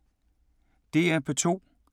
DR P2